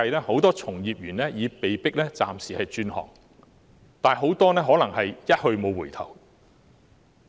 很多從業員為了生計已被迫暫時轉行，其中很多可能是"一去無回頭"。